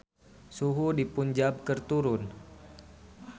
Suhu di Punjab keur turun